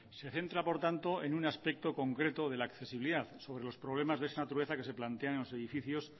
se centra por tanto en un aspecto concreto de la accesibilidad sobre los problemas de esa naturaleza que se plantean en los edificios